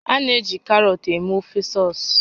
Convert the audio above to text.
A na-eji karọt eme ofe sọs